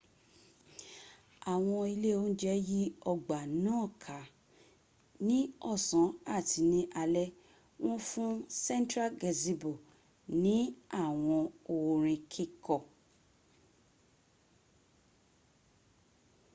àwọn ilé óúnjẹ́ yí ọgbà náà ká ní ọ̀san àti ní alé wọ́n fún central gazebo ní àwọn orin kíkọ